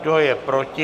Kdo je proti?